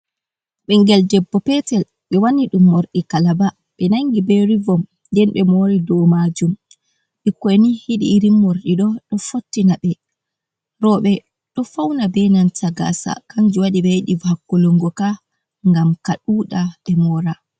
Ɓingel debbo petel ɓe wanni dum morɗi kalaba ɓe nangi be ribom den ɓe mori dow majum bikkoni yidi irin morɗiɗo ɗo fottina ɓe roɓe do fauna be gasa kanju waɗi ɓe yiɗi hakkulungo ka ngam ka ɗuda ɓe mora.